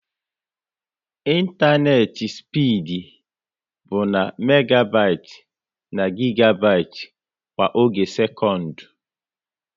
ịntanetị spid bụ na megabit na gigabit kwa oge sekọnd